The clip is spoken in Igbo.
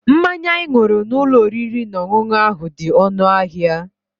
Mmanya anyị ṅụrụ n'ụlọ oriri na ọṅụṅụ ahụ dị ọnụ ahịa.